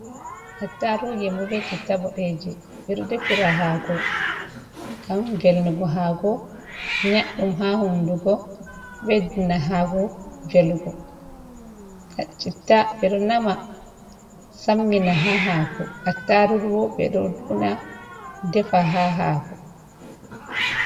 Attaaruje be citta boɗeeje, ɓe ɗo defira haako, ngam velnugo haako, nyaɗɗum haa hunndugo, ɗo ɓeddina haako velugo. Citta ɓe ɗo naama sammina haa haako, attaarugu bo, ɓe ɗo una defa haa haako.